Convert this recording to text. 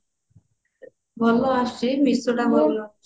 ଭଲ ଆସୁଛି meesho ଟା ଭଲ ଆସୁଛି